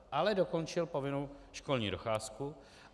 Ale dokončil povinnou školní docházku.